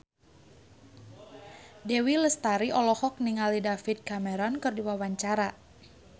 Dewi Lestari olohok ningali David Cameron keur diwawancara